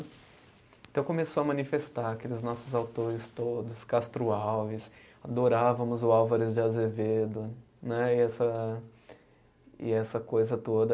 Então começou a manifestar aqueles nossos autores todos, Castro Alves, adorávamos o Álvares de Azevedo né, e essa, e essa coisa toda.